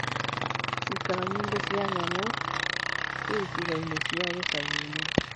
Ciikaro nyingĩ cia nyamũ ciĩ icigo-inĩ cia gĩcagi-inĩ.